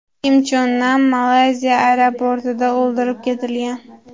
Kim Chon Nam Malayziya aeroportida o‘ldirib ketilgan.